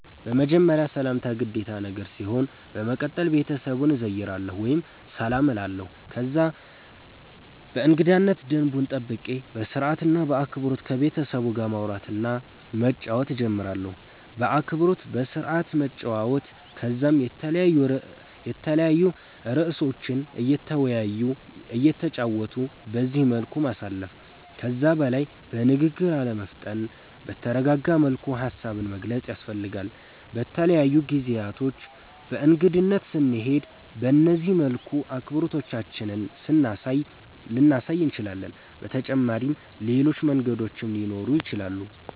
በመጀመርያ ሰላምታ ግዴታ ነገር ሲሆን በመቀተል ቤተሰቡን እዘይራለሁ ወይም ሰላም እላለሁ ከዛ የእንገዳነት ደንቡን ጠብቄ በስርአት እና በአክበሮት ከቤተሰቡ ጋር ማዉራት መጫወት ጀምራለሁ። በአክብሮት በስርአት መጨዋወት ከዛም የተለያዩ እርእሶችን እየተወያዩ እየተጨዋወቱ በዚህ መልኩ ማሳለፍ። ከዛ በላይ በንግግር አለመፍጠን በተረጋጋ መልኩ ሃሳብን መግለፅ ያስፈልጋል። በተለያዩ ጊዜያቶች በእንግድነት ስንሄድ በነዚህ መልኩ አክብሮታችንን ልናሳይ እንችላለን። በተጫመሪም ሌሎች መንገዶችም ሊኖሩ ይችላሉ